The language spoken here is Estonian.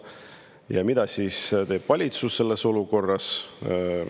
Ja mida teeb valitsus selles olukorras?